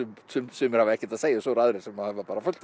sumir hafa ekkert að segja og svo eru aðrir sem hafa fullt